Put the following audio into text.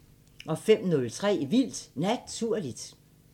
05:03: Vildt Naturligt